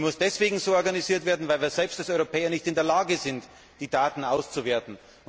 Sie muss deswegen so organisiert werden, weil wir als Europäer nicht in der Lage sind, die Daten selbst auszuwerten.